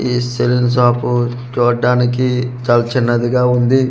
ఈ salon shop చూడ్డానికి చాల్ చిన్నదిగా ఉంది.